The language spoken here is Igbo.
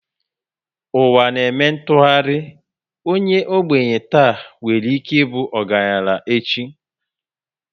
Ụwa na eme ntụgharị, onye ogbenye tà nwere ike ịbụ ọgaranya echi